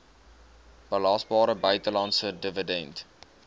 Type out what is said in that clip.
belasbare buitelandse dividend